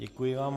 Děkuji vám.